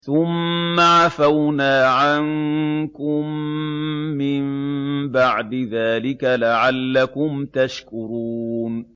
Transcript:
ثُمَّ عَفَوْنَا عَنكُم مِّن بَعْدِ ذَٰلِكَ لَعَلَّكُمْ تَشْكُرُونَ